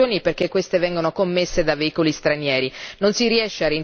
Non si riesce a rintracciare i responsabili perché se ne ignora il domicilio.